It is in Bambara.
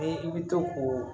I bɛ to k'o